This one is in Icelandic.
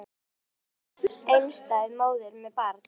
Hún er allt í einu orðin einstæð móðir með barn!